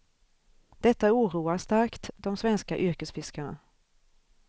Detta oroar starkt de svenska yrkesfiskarna.